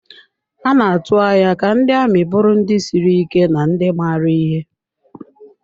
A na-atụ anya ka ndị amị bụrụ ndị siri ike na ndị maara ihe.